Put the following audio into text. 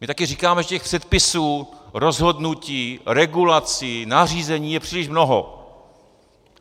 My taky říkáme, že těch předpisů, rozhodnutí, regulací, nařízení je příliš mnoho.